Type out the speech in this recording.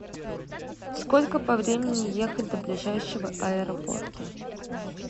сколько по времени ехать до ближайшего аэропорта